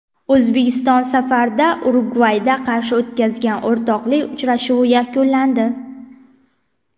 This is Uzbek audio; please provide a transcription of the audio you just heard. O‘zbekiston safarda Urugvayga qarshi o‘tkazgan o‘rtoqlik uchrashuvi yakunlandi.